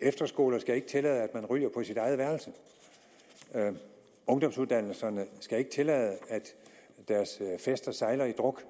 efterskoler skal ikke tillade at man ryger på sit eget værelse ungdomsuddannelserne skal ikke tillade at deres fester sejler i druk